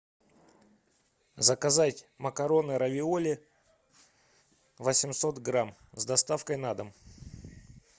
заказать макароны равиоли восемьсот грамм с доставкой на дом